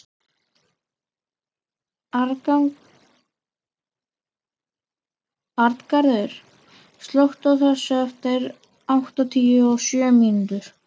Arngarður, slökktu á þessu eftir áttatíu og sjö mínútur.